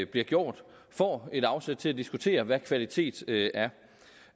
bliver gjort får et afsæt til at diskutere hvad kvalitet